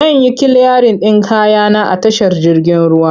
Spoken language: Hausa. Zan yi kiliyarin ɗin kaya na a tashar jirgin ruwa.